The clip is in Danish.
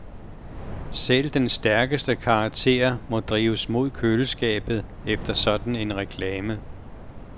Selv den stærkeste karakter må drives mod køleskabet efter en sådan reklame.